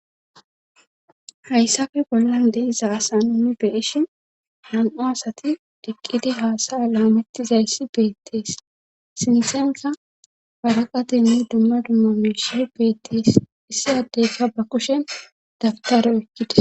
hayssafe bollan deissa asa nuni beishi nan7u asati diqqidi haasaya laamettizayssi beettees sinsenka waraqatenni dumma dumma miishe beettees issi addeyka ba kushen dabtaro ekkides